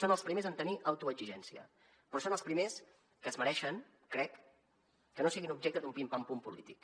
són els primers en tenir auto exigència però són els primers que es mereixen crec que no siguin objecte d’un pim pam pum polític